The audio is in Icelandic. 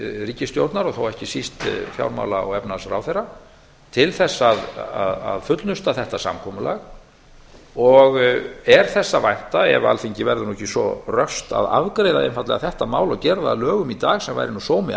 ríkisstjórnar og þá ekki síst fjármála og efnahagsráðherra til þess að fullnusta þetta samkomulag er þess að vænta ef alþingi verður ekki svo röskt að afgreiða einfaldlega málið og gera það að lögum í dag sem væri nú sómi